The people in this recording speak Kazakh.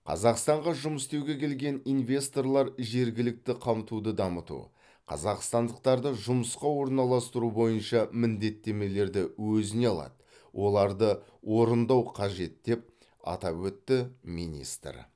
қазақстанға жұмыс істеуге келген инвесторлар жергілікті қамтуды дамыту қазақстандықтарды жұмысқа орналастыру бойынша міндеттемелерді өзіне алады оларды орындау қажет деп атап өтті министр